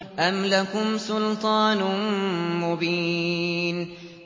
أَمْ لَكُمْ سُلْطَانٌ مُّبِينٌ